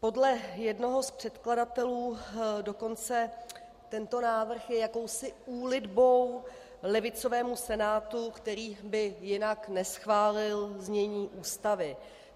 Podle jednoho z předkladatelů dokonce tento návrh je jakousi úlitbou levicovému Senátu, který by jinak neschválil znění Ústavy.